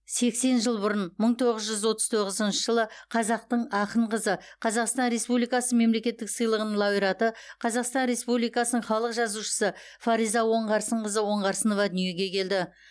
сексен жыл бұрын мың тоғыз жүз отыз тоғызыншы жылы қазақтың ақын қызы қазақстан республикасы мемлекеттік сыйлығының лауреаты қазақстан республикасының халық жазушысы фариза оңғарсынқызы оңғарсынова дүниеге келді